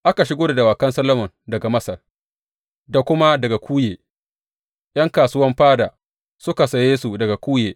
Aka shigo da dawakan Solomon daga Masar da kuma daga Kuye ’yan kasuwan fada suka saye su daga Kuye.